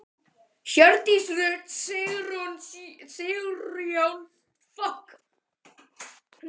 Hjördís Rut Sigurjónsdóttir: Hvað með þá sem að búa einir?